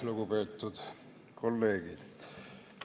Lugupeetud kolleegid!